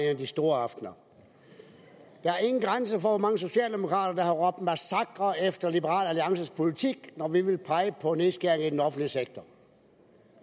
af de store aftener der er ingen grænser for hvor mange socialdemokrater der har råbt massakre efter liberal alliances politik når vi pegede på nedskæringer i den offentlige sektor